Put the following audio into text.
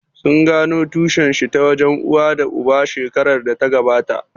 Sun gano tushen shi ta wajen uwa da uba shekarar da ta gabata?